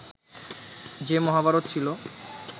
যে মহাভারত ছিল